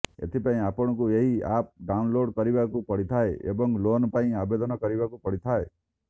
ଏଥିପାଇଁ ଆପଣଙ୍କୁ ଏହି ଆପ ଡାଉନଲୋଡ କରିବାକୁ ପଡିଥାଏ ଏବଂ ଲୋନ ପାଇଁ ଆବେଦନ କରିବାକୁ ପଡିଥାଏ